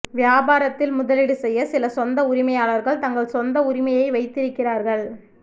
வியாபாரத்தில் முதலீடு செய்ய சில சொந்த உரிமையாளர்கள் தங்கள் சொந்த உரிமையை வைத்திருக்கிறார்கள்